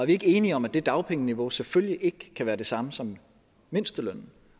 ikke enige om at det dagpengeniveau selvfølgelig ikke kan være det samme som mindstelønnen